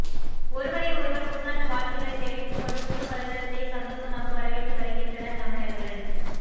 ஒருவரை ஒருவர் புத்தாண்டு வாழ்த்துக்களை தெரிவித்து கொண்டு புதுவருடத்தை சந்தோஷமாக வரவேற்று வருகின்றனர் தமிழர்கள்